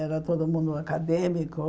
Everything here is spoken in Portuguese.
Era todo mundo acadêmico.